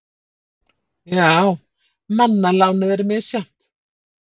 Já, manna lánið er misjafnt.